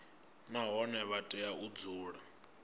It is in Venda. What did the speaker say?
nahone vha tea u dzula